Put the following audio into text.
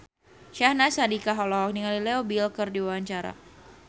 Syahnaz Sadiqah olohok ningali Leo Bill keur diwawancara